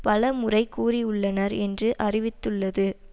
பலமுறை கூறியுள்ளனர் என்று அறிவித்துள்ளது